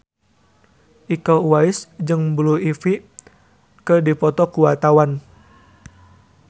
Iko Uwais jeung Blue Ivy keur dipoto ku wartawan